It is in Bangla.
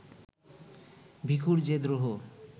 ভিখুর যে দ্রোহ